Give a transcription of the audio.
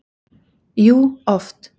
Jú, oft.